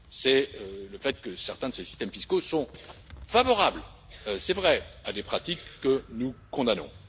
C'est le fait que certains de ces systèmes fiscaux sont favorables, c'est vrai, à des pratiques que nous condamnons.